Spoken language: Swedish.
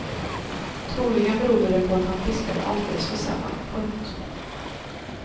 Troligen berodde det på att han fiskade alldeles för sällan. punkt